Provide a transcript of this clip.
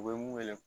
U bɛ mun wele